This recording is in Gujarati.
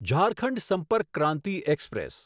ઝારખંડ સંપર્ક ક્રાંતિ એક્સપ્રેસ